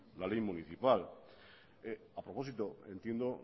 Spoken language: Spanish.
la ley municipal a propósito entiendo